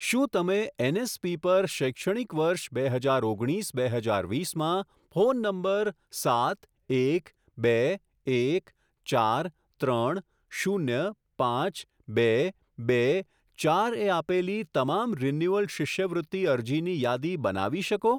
શું તમે એનએસપી પર શૈક્ષણિક વર્ષ બે હજાર ઓગણીસ બે હજાર વીસમાં ફોન નંબર સાત એક બે એક ચાર ત્રણ શૂન્ય પાંચ બે બે ચાર એ આપેલી તમામ રિન્યુઅલ શિષ્યવૃત્તિ અરજીની યાદી બનાવી શકો?